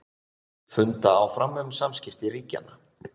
Funda áfram um samskipti ríkjanna